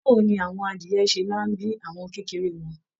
Báwo ni àwọn adìyẹ̀ ṣe máa n bí àwọn kékeré wọn?